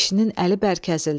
Kişinin əli bərk əzildi.